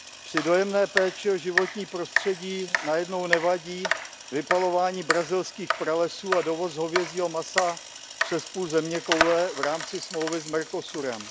Při dojemné péči o životní prostředí najednou nevadí vypalování brazilských pralesů a dovoz hovězího masa přes půl zeměkoule v rámci smlouvy s Mercosurem.